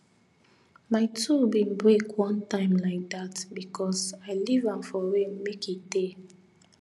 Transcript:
my tool bin break one time like that because i leave am for rain make e tey